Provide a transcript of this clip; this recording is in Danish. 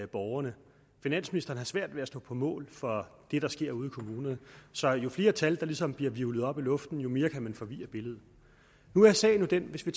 borgerne finansministeren har svært ved at stå på mål for det der sker ude i kommunerne så jo flere tal der ligesom bliver hvirvlet op i luften jo mere kan man forvirre billedet nu er sagen jo den hvis vi